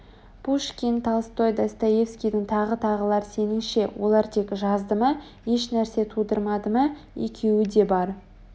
пушкин толстой достоевскийің тағы тағылар сеніңше олар тек жазды ма еш нәрсе тудырмады ма екеуі де бар